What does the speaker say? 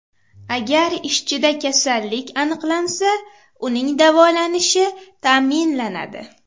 Agar ishchida kasallik aniqlansa, uning davolanishi ta’minlanadi.